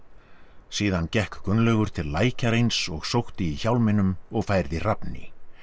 síðan gekk Gunnlaugur til lækjar eins og sótti í hjálminum og færði Hrafni